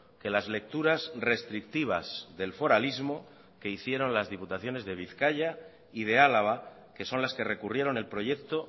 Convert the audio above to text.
que las lecturas restrictivas del foralismo que hicieron las diputaciones de bizkaia y de álava que son las que recurrieron el proyecto